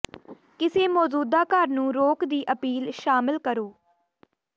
ਕਿਸੇ ਮੌਜੂਦਾ ਘਰ ਨੂੰ ਰੋਕ ਦੀ ਅਪੀਲ ਸ਼ਾਮਲ ਕਰੋ